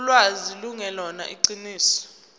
ulwazi lungelona iqiniso